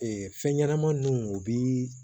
fɛn ɲɛnama ninnu u bi